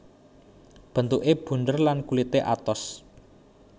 Bentuké bunder lan kulité atos